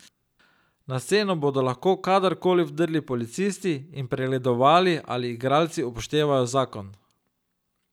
Na sceno bodo lahko kadar koli vdrli policisti in pregledovali, ali igralci upoštevajo zakon.